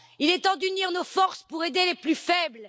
Il est temps d'unir nos forces pour aider les plus faibles.